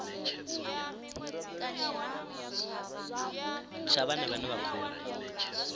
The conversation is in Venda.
tsha vhana vhane vha khou